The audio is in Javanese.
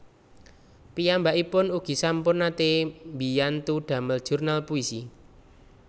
Piyambakipun ugi sampun naté mbiyantu damel jurnal puisi